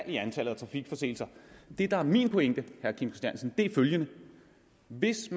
i antallet af trafikforseelser det der er min pointe er følgende hvis